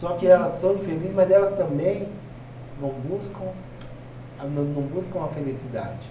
Só que elas são infelizes, mas elas também não buscam a na não buscam a felicidade.